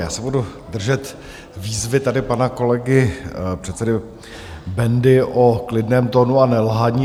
Já se budu držet výzvy tady pana kolegy předsedy Bendy o klidném tónu a nelhaní.